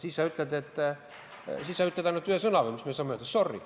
Siis sa ütled või meie saame öelda ainult ühe sõna: sorry.